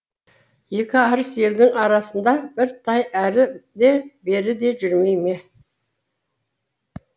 екі арыс елдің арасыңда бір тай әрі де бері де жүрмей ме